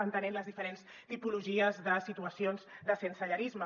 entenent les diferents tipologies de situacions de sensellarisme